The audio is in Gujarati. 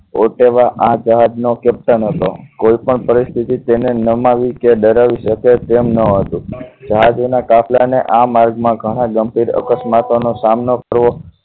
હોદ્દેવા આ જહાજનો કેપ્ટન હતો કોઈપણ પરિસ્થિતિ તેને નમી કે ડરાવી શકે તેમ ન હતી જહાજ એના કાફલા ને આ માર્ગ માં ઘણા ગંભીર અકસ્માતો નો સામનો કરવો